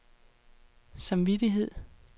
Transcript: samvittighed